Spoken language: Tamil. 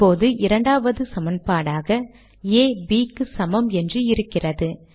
இப்போது இரண்டாவது சமன்பாடாக ஆ Bக்கு சமம் என்று இருக்கிறது